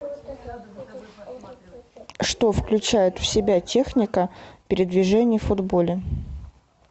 что включает в себя техника передвижений в футболе